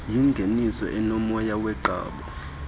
yingeniso enomoya woqambo